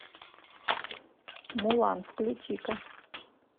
мулан включи ка